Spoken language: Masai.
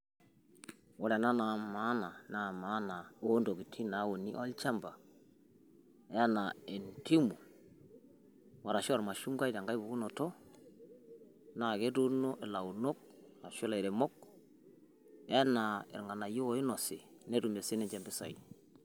Ore ena naa maana, naa maana oontokitin nauni olchamba enaa endimu arashu ormashungwa tenkae pukunoto naa ketuuno ilaunok arashu ilairemok enaa irng'anayiok oinosi, netumie sininche impisai.